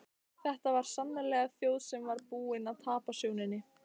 Þetta var sannarlega þjóð sem var búin að tapa sjóninni.